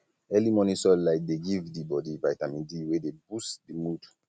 early morning sunlight de give di bodi vitamin d wey de boost di mood